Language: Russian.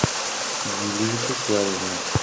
юлию вячеславовну